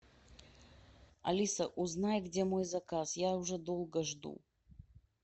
алиса узнай где мой заказ я уже долго жду